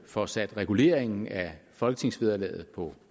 får sat reguleringen af folketingsvederlaget på